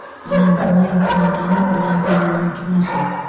анам мойынқұм ауданы ұланбел ауылының тумасы